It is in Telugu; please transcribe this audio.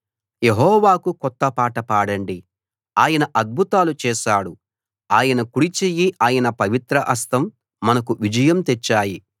యెహోవాకు కొత్త పాట పాడండి ఆయన అద్భుతాలు చేశాడు ఆయన కుడి చెయ్యి ఆయన పవిత్ర హస్తం మనకు విజయం తెచ్చాయి